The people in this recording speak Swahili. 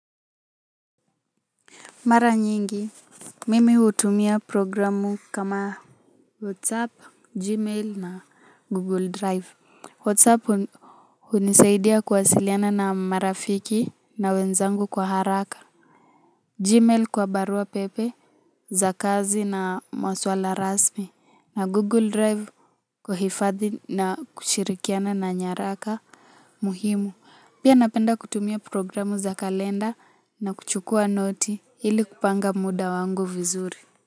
Mara nyingi, mimi hutumia programu kama WhatsApp, Gmail na Google Drive. WhatsApp hunisaidia kuwasiliana na marafiki na wenzangu kwa haraka. Gmail kwa barua pepe za kazi na maswala rasmi na Google Drive kwa hifadhi na kushirikiana na nyaraka muhimu. Pia napenda kutumia programu za kalenda na kuchukua noti ili kupanga muda wangu vizuri.